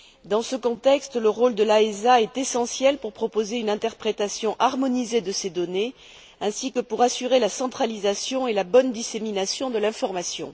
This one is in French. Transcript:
Dans ce contexte, le rôle de l'AESA est essentiel pour proposer une interprétation harmonisée de ces données, ainsi que pour assurer la centralisation et la bonne dissémination de l'information.